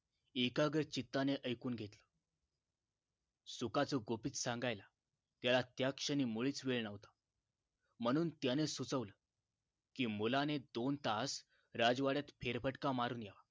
एकाग्र चित्ताने ऐकून घेतलं सुखाचं गुपित सांगायला त्याला त्याक्षणी मुळीच वेळ न्हवता म्हणून त्याने सुचवलं की मुलाने दोन तास राजवाड्यात फेरफटका मारून या